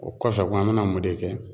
O kɔfɛ kun , an bɛna mɔ de kɛ?